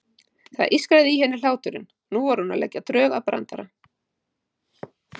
Það ískraði í henni hláturinn, nú var hún að leggja drög að brandara.